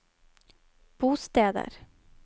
bosteder